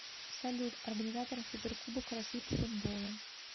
салют организатор суперкубок россии по футболу